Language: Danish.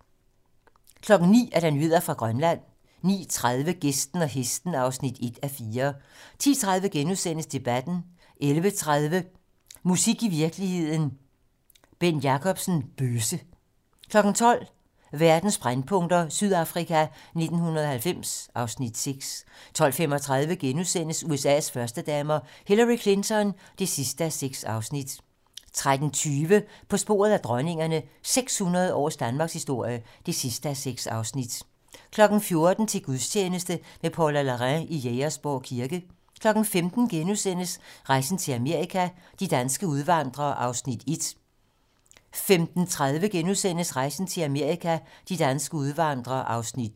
09:00: Nyheder fra Grønland 09:30: Gæsten og hesten (1:4) 10:30: Debatten * 11:30: Musik i virkeligheden - Bent Jacobsen: "Bøsse" 12:00: Verdens brændpunkter: Sydafrika 1990 (Afs. 6) 12:35: USA's førstedamer - Hillary Clinton (6:6)* 13:20: På sporet af dronningerne - 600 års danmarkshistorie (6:6) 14:00: Til gudstjeneste med Paula Larrain i Jægersborg Kirke 15:00: Rejsen til Amerika – de danske udvandrere (1:3)* 15:30: Rejsen til Amerika - de danske udvandrere (2:3)*